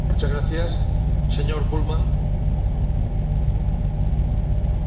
Herr Präsident, Herr Kommissar, meine werten Kolleginnen und Kollegen!